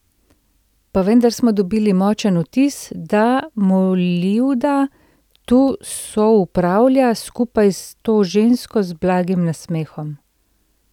Pa vendar smo dobili močen vtis, da Molivda tu soupravlja skupaj s to žensko z blagim nasmehom.